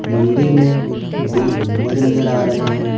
मंदिर में दो गुंबज नजर आ रहे हैं।